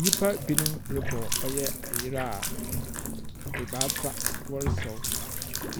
Nyimpa binom robɔ ɔyɛ ayer a ebaasa wɔresaw.